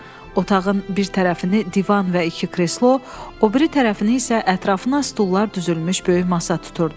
Otağın bir tərəfini divan və iki kreslo, o biri tərəfini isə ətrafına stullar düzülmüş böyük masa tuturdu.